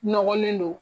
Nɔgɔlen don